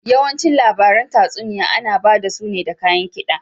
Yawanci labaran tatsuniya ana bada su ne da kayan kida.